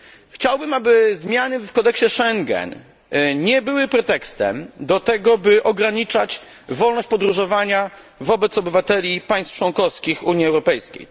Chciałbym, aby zmiany w kodeksie Schengen nie były pretekstem do tego, by ograniczać wolność podróżowania wobec obywateli państw członkowskich Unii Europejskiej.